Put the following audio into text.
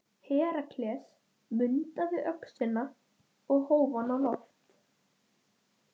Kauptu blóm.